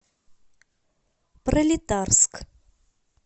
пролетарск